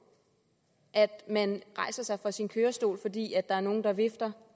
at man rejser sig fra sin kørestol fordi der er nogen der vifter